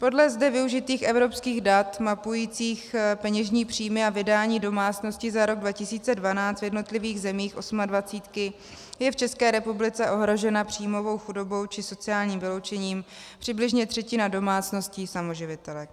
Podle zde využitých evropských dat mapujících peněžní příjmy a vydání domácností za rok 2012 v jednotlivých zemích osmadvacítky je v České republice ohrožena příjmovou chudobou či sociálním vyloučením přibližně třetina domácností samoživitelek.